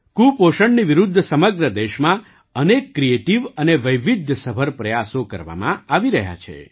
કુપોષણની વિરુદ્ધ સમગ્ર દેશમાં અનેક ક્રિએટિવ અને વૈવિધ્યસભર પ્રયાસો કરવામાં આવી રહ્યા છે